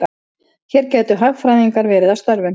Hér gætu hagfræðingar verið að störfum.